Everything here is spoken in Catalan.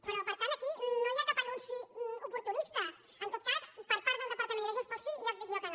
però per tant aquí no hi ha cap anunci oportunista en tot cas per part del departament i de junts pel sí ja els dic jo que no